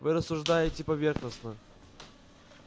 вы рассуждаете поверхностно